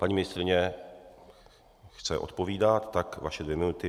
Paní ministryně chce odpovídat, tak vaše dvě minuty.